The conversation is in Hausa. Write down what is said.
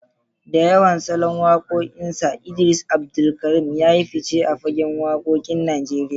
Da yawan salon wakokinsa, Idris Abdulkarim ya yi fice a fagen wakokin Najeriya.